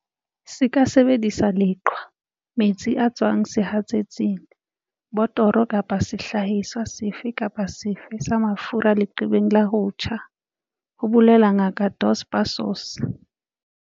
Se ka sebedisa leqhwa, metsi a tswang sehatsetsing, botoro kapa sehlahiswa sefe kapa sefe se mafura leqebeng la ho tjha, ho bolela Ngaka Dos Passos.